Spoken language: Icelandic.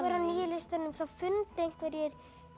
á nýja listanum þá fundur einhverjir